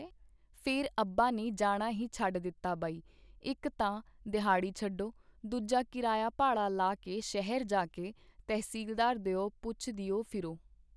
ਫੇਰ ਅੱਬਾ ਨੇ ਜਾਣਾ ਹੀ ਛੱਡ ਦਿੱਤਾ ਬਈ ਇੱਕ ਤਾਂ ਦਿਹਾੜੀ ਛੱਡੋ ਦੂਜਾ ਕੀਰਾਇਆ ਭਾੜਾ ਲਾ ਕੇ ਸ਼ਹਿਰ ਜਾ ਕੇ ਤਹਿਸੀਲਦਾਰ ਦਿਓ ਪੁੱਛਦਿਓ ਫਿਰੋ.